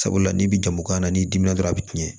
Sabula n'i bɛ jamu kan na n'i dimina dɔrɔn a bɛ tiɲɛ